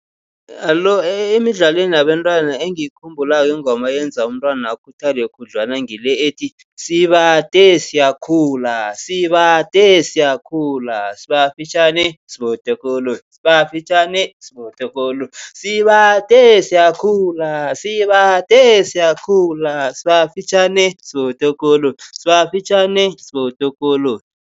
Alo emidlalweni yabentwana engiyikhumbulako ingoma eyenza umntwana akhuthale khudlwana ngile ethi, sibade siyakhula, sibade siyakhula, sibafitjhani sibotokolotjhi, sibafitjhane sibotokolotjhi, sibade siyakhula, sibade siyakhula, sibafitjhane sibotokolotjhi sibafitjhane sibotokolotjhi.